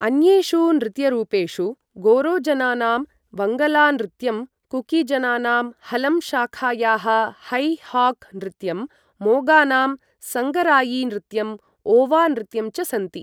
अन्येषु नृत्यरूपेषु गारोजनानां वङ्गला नृत्यं, कुकीजनानाम् हलम शाखायाः है हाक् नृत्यं, मोगानां संगरायी नृत्यं, ओवा नृत्यं च सन्ति।